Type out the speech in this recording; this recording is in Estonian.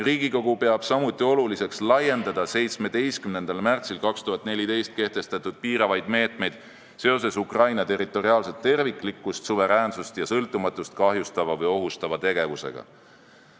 Riigikogu peab samuti oluliseks laiendada 17. märtsil 2014 kehtestatud piiravaid meetmeid seoses Ukraina territoriaalset terviklikkust, suveräänsust ja sõltumatust kahjustava või ohustava tegevusega.